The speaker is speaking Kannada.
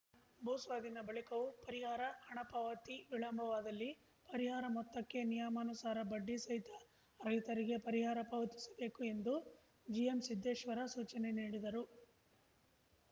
ಭೂಸ್ವಾಧೀನ ಬಳಿಕವೂ ಪರಿಹಾರ ಹಣ ಪಾವತಿ ವಿಳಂಬವಾದಲ್ಲಿ ಪರಿಹಾರ ಮೊತ್ತಕ್ಕೆ ನಿಯಮಾನುಸಾರ ಬಡ್ಡಿ ಸಹಿತ ರೈತರಿಗೆ ಪರಿಹಾರ ಪಾವತಿಸಬೇಕು ಎಂದು ಜಿಎಂಸಿದ್ದೇಶ್ವರ ಸೂಚನೆ ನೀಡಿದರು